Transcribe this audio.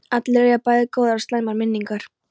Allir eiga bæði góðar og slæmar minningar.